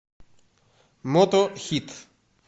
мотохит